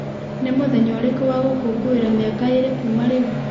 nĩ mũthenya ũrĩkũ wa gũkũngũĩra mĩaka ĩĩrĩ kuuma rĩu